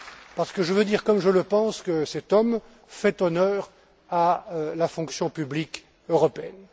parce que je veux dire comme je le pense que cet homme fait honneur à la fonction publique européenne.